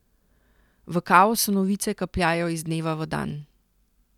V kaosu novice kapljajo iz dneva v dan.